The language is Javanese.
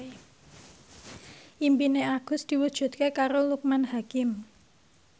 impine Agus diwujudke karo Loekman Hakim